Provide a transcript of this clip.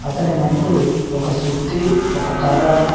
అతని ముందు ఒక సుత్తి ఒక కర్ర--